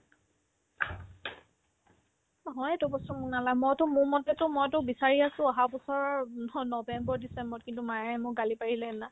অ, হয়েতো এইটো বস্তু শুনালা মইতো মোৰ মতেতো মইতো বিচাৰি আছো অহাবছৰৰ উম স নৱেম্বৰ-ডিচেম্বৰত কিন্তু মায়ে মোক গালি পাৰিলে সেইদিনা